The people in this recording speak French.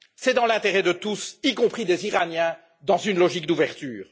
C'est dans l'intérêt de tous, y compris des Iraniens, dans une logique d'ouverture.